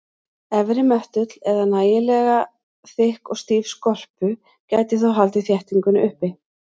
Efri möttull eða nægilega þykk og stíf skorpu gæti þó haldið þéttingunni uppi.